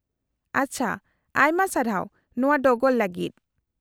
-ᱟᱪᱪᱷᱟ, ᱟᱭᱢᱟ ᱥᱟᱨᱦᱟᱣ ᱱᱚᱶᱟ ᱰᱚᱜᱚᱨ ᱞᱟᱹᱜᱤᱫ ᱾